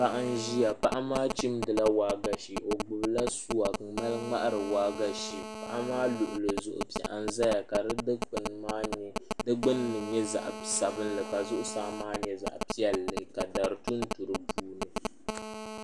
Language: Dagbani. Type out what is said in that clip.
Paɣa n ʒiya paɣa maa chimdila waagashe o gbubila suwa n mali ŋmahari waagashe paɣa maa luɣuli zuɣu piɛɣu n ʒɛya ka di gbunni nyɛ zaɣ sabinli ka zuɣusaa maa nyɛ zaɣ piɛlli ka dari tuntu di puuni